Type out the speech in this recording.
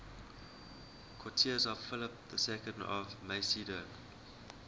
courtiers of philip ii of macedon